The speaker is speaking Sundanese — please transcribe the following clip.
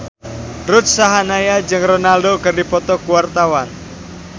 Ruth Sahanaya jeung Ronaldo keur dipoto ku wartawan